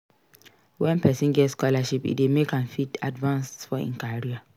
When person get scholarship e dey make am fit advance for im career